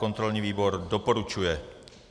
Kontrolní výbor doporučuje.